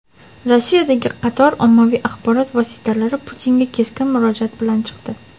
Rossiyadagi qator ommaviy axborot vositalari Putinga keskin murojaat bilan chiqdi.